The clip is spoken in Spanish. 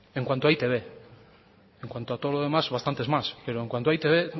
en cuanto a e i te be en cuanto a todo lo demás bastantes más pero en cuanto a e i te be